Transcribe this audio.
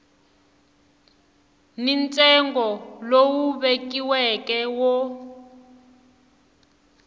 ni ntsengo lowu vekiweke wo